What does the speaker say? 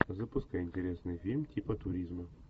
запускай интересный фильм типа туризма